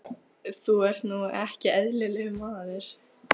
Segðu okkur hvernig þú veist þetta allt saman, manneskja.